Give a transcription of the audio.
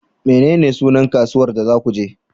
Menene sunan kasuwar da za ku je?